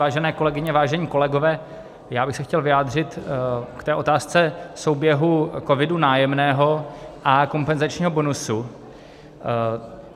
Vážené kolegyně, vážení kolegové, já bych se chtěl vyjádřit k té otázce souběhu COVID - Nájemného a kompenzačního bonusu.